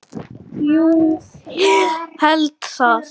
Jú, ég held það.